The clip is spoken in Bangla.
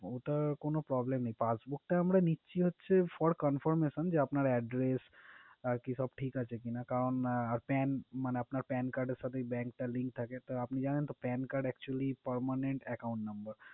ওটার কোন problem নেই passbook টা আমরা নিচ্ছি হচ্ছে for confirmation আপনার address আরকি সব ঠিক আছে কিনা, কারণ আর pan মানে আপনার pan card এর সাথে bank টার link থাকে card actually Permanent Account Number